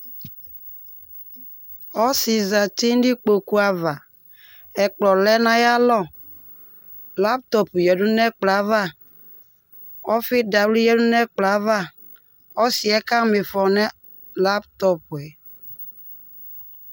Ɔsɩ zati nʋ ikpoku ava Ɛkplɔ lɛ nʋ ayalɔ Laptɔpʋ yǝdu nʋ ɛkplɔ yɛ ava Ɔfɩ dawlɩ yǝdu nʋ ɛkplɔ yɛ ava Ɔsɩ yɛ kama ɩfɔ nʋ laptɔpʋ yɛ